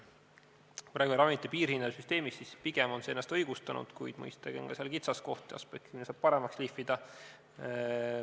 Praegune ravimite piirhinna süsteem on pigem ennast õigustanud, kuid mõistagi on seal ka kitsaskohti ja aspekte, mida saab paremaks lihvida.